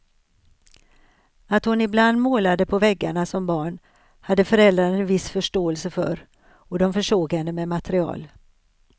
Att hon ibland målade på väggarna som barn hade föräldrarna en viss förståelse för och de försåg henne med material.